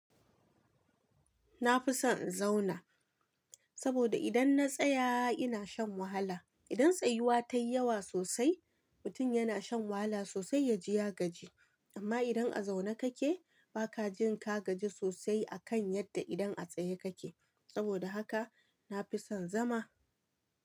Na fi son in zauna, saboda idan na tsaya ina shan wahala. Idan tsayuwa ta yi yawa sosai, mutun yana shan wahala sosai ya ji ya gaji. Amma idan a zaune kake ba ka jin ka gaji sosai a kan yadda idan a tsaye kake. Saboda haka na fi son zama.